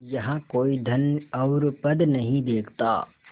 यहाँ कोई धन और पद नहीं देखता